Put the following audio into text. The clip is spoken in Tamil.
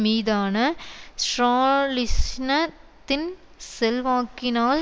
மீதான ஸ்ராலிஸ்னத்தின் செல்வாக்கினால்